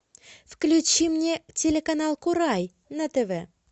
включи мне телеканал курай на тв